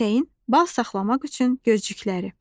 Pətəyin bal saxlamaq üçün gözcükləri.